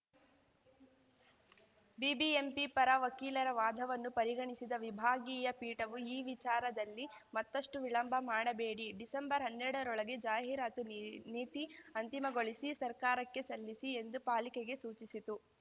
BBMP ಪರ ವಕೀಲರ ವಾದವನ್ನು ಪರಿಗಣಿಸಿದ ವಿಭಾಗೀಯ ಪೀಠವು ಈ ವಿಚಾರದಲ್ಲಿ ಮತ್ತಷ್ಟುವಿಳಂಬ ಮಾಡಬೇಡಿ ಡಿಸೆಂಬರ್ಹನ್ನೆರಡರೊಳಗೆ ಜಾಹೀರಾತು ನೀ ನೀತಿ ಅಂತಿಮಗೊಳಿಸಿ ಸರ್ಕಾರಕ್ಕೆ ಸಲ್ಲಿಸಿ ಎಂದು ಪಾಲಿಕೆಗೆ ಸೂಚಿಸಿತು